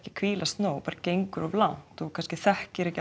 hvílast nóg gengur of langt og þekkir ekki